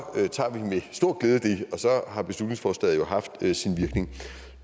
så har beslutningsforslaget jo haft sin virkning